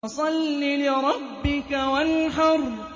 فَصَلِّ لِرَبِّكَ وَانْحَرْ